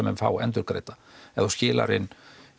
menn fá endurgreidda ef þú skilar inn